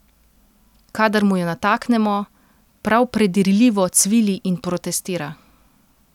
Kadar mu jo nataknemo, prav predirljivo cvili in protestira.